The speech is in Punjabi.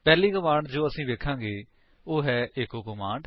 ਪਹਿਲੀ ਕਮਾਂਡ ਜੋ ਅਸੀ ਵੇਖਾਂਗੇ ਉਹ ਹੈ ਈਚੋ ਕਮਾਂਡ